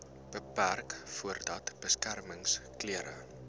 beperk voordat beskermingsklere